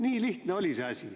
Nii lihtne oli see asi.